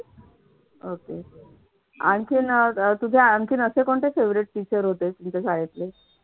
okay आणखीन अह तुझे आणखीन असे कोणते favorite teacher होते तुमच्या शाळेतले